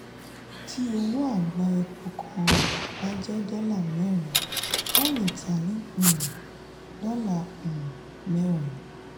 tí owó agba epo kan bá jẹ́ dola mẹ́rin wọn lé tá ni um dola um mẹ́rin.